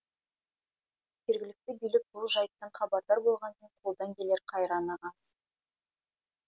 жергілікті билік бұл жайттан хабардар болғанымен қолдан келер қайраны аз